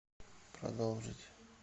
продолжить